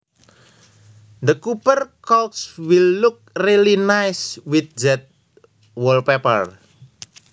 The copper couch will look really nice with that wallpaper